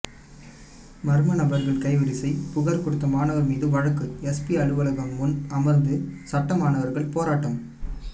மர்ம நபர்கள் கைவரிசை புகார் கொடுத்த மாணவர் மீது வழக்கு எஸ்பி அலுவலகம் முன் அமர்ந்து சட்ட மாணவர்கள் போராட்டம்